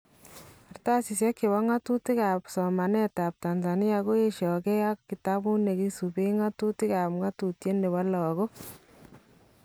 Kartasisyek chebo ng'atutik ab somaneetab Tanzania koyeshakee ak kitabut nekisubeen ng'atutik ak ngatutyet nebo lakook